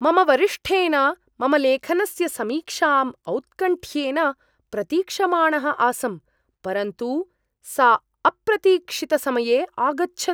मम वरिष्ठेन मम लेखनस्य समीक्षाम् औत्कण्ठ्येन प्रतीक्षमाणः आसं, परन्तु सा अप्रतीक्षितसमये आगच्छत्।